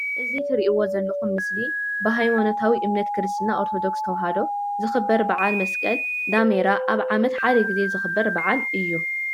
እዚ ትርኢዎ ዘለኩም ምስሊ ብሃይማኖታዊ እምነት ክርስትና ኦርቶዶክስ ተዋህዶ ዝክበር ባዓል መስቀል ዳሜራ ኣብ ዓመት ሓደ ግዜ ዝክበር ባዓል እዩ።